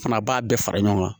Fana b'a bɛɛ fara ɲɔgɔn kan